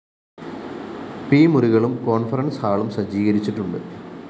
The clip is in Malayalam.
പി മുറികളും കോണ്‍ഫറന്‍സ് ഹാളും സജ്ജീകരിച്ചിട്ടുണ്ട്